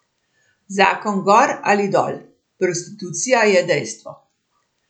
Zakon gor ali dol, prostitucija je dejstvo.